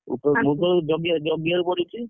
ମୁଗ ଜଗିବାକୁ ମୁଗ ଜଗିବାକୁ ଜଗିବାକୁ ପଡୁଛି।